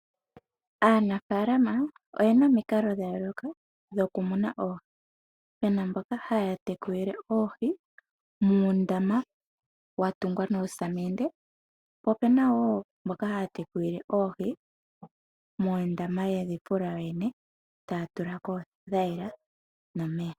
Aanafaalama oye na omikalo dha yooloka dhokumuna oohi. Pu na mboka haya tekulile oohi muundama wa tungwa nosamende, po pu na mboka ha ya tekulile oohi moondama ye dhi fula yoyene, taya tulako oothayila nomeya.